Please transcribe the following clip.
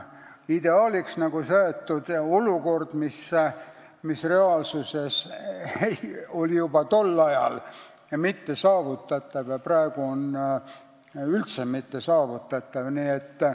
Ideaaliks on seatud olukord, mis ei olnud juba tol ajal reaalsuses saavutatav ja mis praegu ei ole üldse saavutatav.